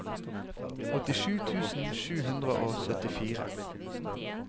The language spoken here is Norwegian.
åttisju tusen sju hundre og syttifire